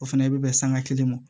O fɛnɛ bɛ bɛn sanga kelen ma